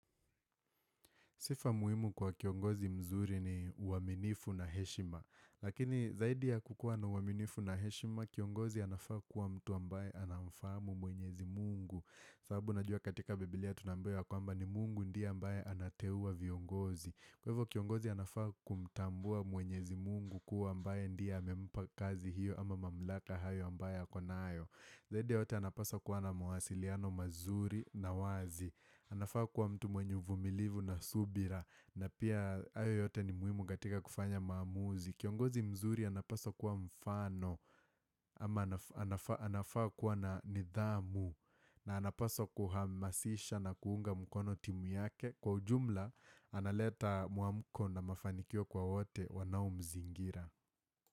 Sifa muhimu kwa kiongozi mzuri ni uaminifu na heshima. Lakini zaidi ya kukua na uaminifu na heshima, kiongozi anafaa kuwa mtu ambaye anaufamu mwenyezi mungu. Sababu najua katika Biblia tunaambiwa ya kwamba ni mungu ndiye ambaye anateua viongozi. Kwa hivo kiongozi anafaa kumtambua mwenyezi mungu kuwa ambaye ndiye amempa kazi hiyo ama mamlaka hayo ambaye akonayo. Zaidi yote anapasa kuwa na mwasiliano mazuri na wazi. Anafaa kuwa mtu mwenye uvumilivu na subira na pia hayo yote ni muhimu katika kufanya maamuzi Kiongozi mzuri anapaswa kuwa mfano ama ana anafaa kuwa na nidhamu na anapasa kuhamasisha na kuunga mkono timu yake Kwa ujumla analeta mwamuko na mafanikio kwa wote wanao mzingira.